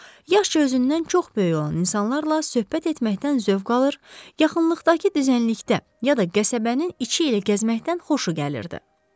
Yaxşı özündən çox böyük olan insanlarla söhbət etməkdən zövq alır, yaxınlıqdakı düzənlikdə, ya da qəsəbənin içi ilə gəzməkdən xoşu gəlirdi.